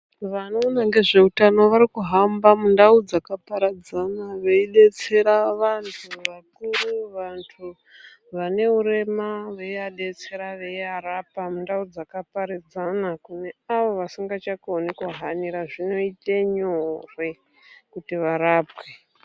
Vanoona ngezvehutano varikuhamba mundau dzakaparadzana veidetsera vantu vasiri vane urema veivadetsera Veirapa mundau dzaka paradzana kune avo vasingakoni kuhanira zvinoita nyore kuti varapwe.